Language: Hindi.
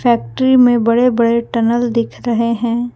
फैक्ट्री में बड़े बड़े टनल दिख रहे है।